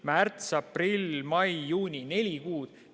Märts, aprill, mai, juuni – neli kuud.